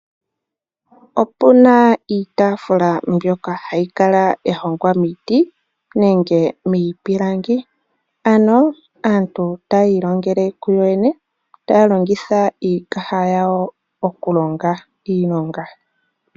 Opu na iitafula mbyoka hayi kala ya hongwa miiti nenge miipilangi, ano aantu taya ilongele ku yooyene, taya longitha iikaha yawo oku longa iilonga.